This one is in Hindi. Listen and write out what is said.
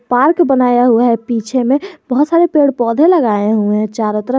पार्क बनाया हुआ है पीछे में बहुत सारे पेड़ पौधे लगाए हुए हैं चारों तरफ।